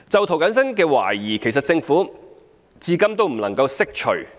涂謹申議員的疑慮，政府至今未能釋除。